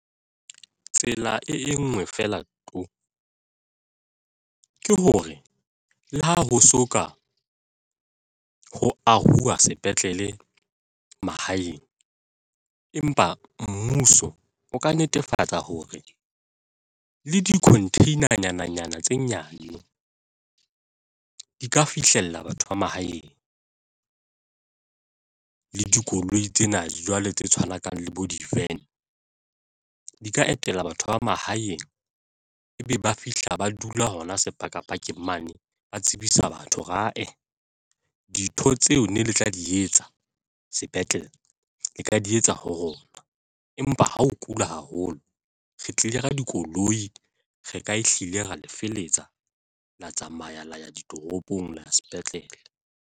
Tsela e nngwe feela to! ke hore le ha ho so ka ho ahuwa sepetlele mahaeng, empa mmuso o ka netefatsa hore le di-container-nyana nyana tse nyane di ka fihlella batho ba mahaeng le dikoloi tsena, jwale tse tshwanang le bo di-van di ka etela batho ba mahaeng ebe ba fihla ba dula hona sepakapakeng mane ba tsebisa batho dintho tseo ne le tla di etsa sepetlele le ka di etsa ho rona, empa ha o kula haholo, re tlile ka dikoloi, re ka ehlile ra le feletsa la tsamaya la ya ditoropong la ya sepetlele.